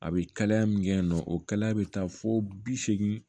A bɛ kalaya min kɛ yen nɔ o kalaya bɛ taa fo bi seegin